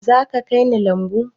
Zaka kai ni lambu?